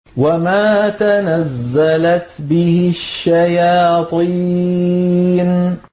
وَمَا تَنَزَّلَتْ بِهِ الشَّيَاطِينُ